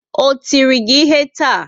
O tiri gị ihe taa?